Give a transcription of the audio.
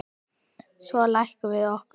Svo lékum við okkur.